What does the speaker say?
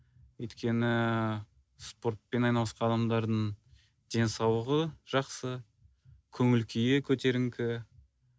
өйткені спортпен айналысқан адамдардың денсаулығы жақсы көңіл күйі көтеріңкі